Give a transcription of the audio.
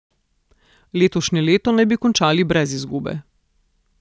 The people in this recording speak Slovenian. Letošnje leto naj bi končali brez izgube.